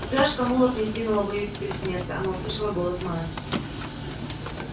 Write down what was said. упряжка мулов не сдвинула бы её теперь с места она услышала голос мелани